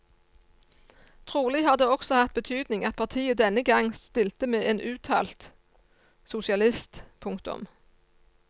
Trolig har det også hatt betydning at partiet denne gang stilte med en uttalt sosialist. punktum